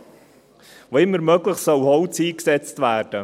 Zum Thema: Wo immer möglich, soll Holz eingesetzt werden.